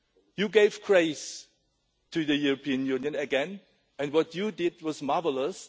You gave grace to the European Union again and what you did was marvellous.